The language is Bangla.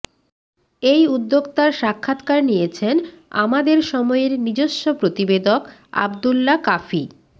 এই উদ্যোক্তার সাক্ষাৎকার নিয়েছেন আমাদের সময়ের নিজস্ব প্রতিবেদক আব্দুল্লাহ কাফি